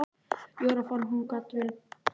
Jóra fann að hún gat vel blundað sjálf.